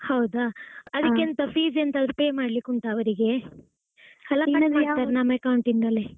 ಹೌದಾ. ಅದಕ್ಕೆ ಎಂತ fees ಎಂತಾದ್ರೂ pay ಮಾಡ್ಲಿಕ್ಕೆ ಉಂಟಾ ಅವರಿಗೆ ನಮ್ಮ account ಇಂದಲೇ?